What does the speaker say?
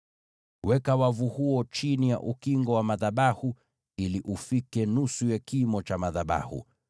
Weka wavu huo chini ya ukingo wa madhabahu ili ufikie nusu ya kimo cha madhabahu.